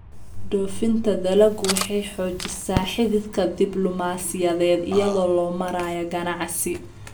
Dhoofinta dalaggu waxay xoojisaa xidhiidhka diblumaasiyadeed iyada oo loo marayo ganacsi.